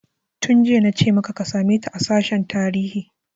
Tun jiya nace maka ka same ta a sashen tarihi!